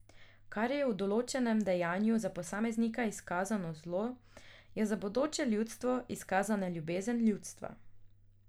Kar je v določenem dejanju za posameznika izkazano zlo, je za bodoče ljudstvo izkazana ljubezen ljudstva.